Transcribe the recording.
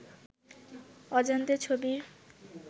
অজান্তে ছবির